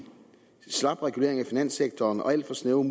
slap regulering af finanssektoren og alt for snævre